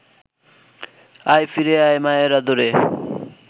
আয় ফিরে আয় মায়ের আদরে